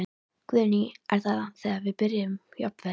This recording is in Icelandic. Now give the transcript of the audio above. Guðný: Er það þegar byrjað jafnvel?